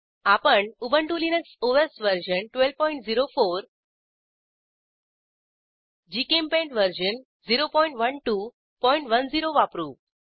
आपण Ubuntu Linux OS version 1204 GChemPaint version 01210 वापरू